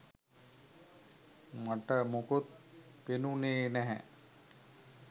මට මොකුත් පෙනුනේ නැහැ.